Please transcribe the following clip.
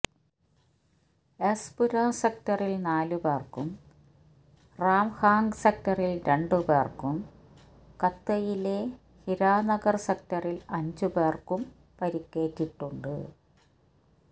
S Pura സെക്ടറിൽ നാലു പേർക്കും റാംഗാഹ് സെക്ടറിൽ രണ്ടു പേർക്കും കത്വയിലെ ഹിരാനഗർ സെക്ടറിൽ അഞ്ചു പേർക്കും പരിക്കേറ്റിട്ടുണ്ട്